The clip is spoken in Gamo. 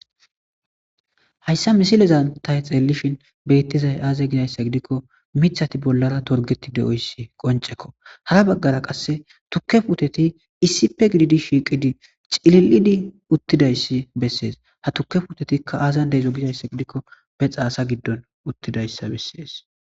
hayssa misileza tay xeellishin bettizay aaze gizayssa gidikko mithati bollara torgeti de7oyssi qoncekko hara baggara qasse tukke puteti issipe gididi shiiqidi cili7idi uttidayssi bessees ha tukke putetikka aazan deezo gizayssa gidikko be xaasa giddon uttidayssa bessides